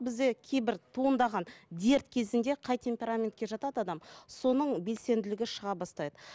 бізде кейбір туындаған дерт кезінде қай темпераментке жатады адам соның белсенділігі шыға бастайды